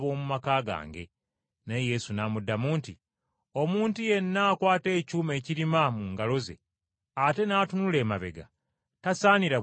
Naye Yesu n’amuddamu nti, “Omuntu yenna akwata ekyuma ekirima mu ngalo ze ate n’atunula emabega, tasaanira bwakabaka bwa Katonda.”